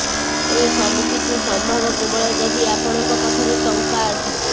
ଏସବୁକିଛି ସମ୍ଭବ କେବଳ ଯଦି ଆପଣଙ୍କ ପାଖରେ ଟଙ୍କା ଅଛି